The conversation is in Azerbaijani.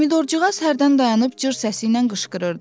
Pomidorcığaz hərdən dayanıb cır səsiylə qışqırırdı.